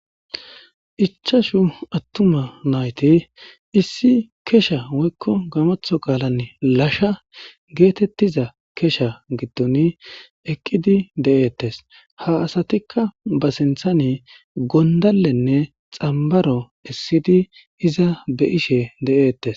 ichashu attuma nayti issi kesha woykko gamatho qaalan lasha geetettiza kesha giddon eqqidi de'eettes ha asatikka ba sinthani gondalenne xambaro essidi iza be'ishe de'eettes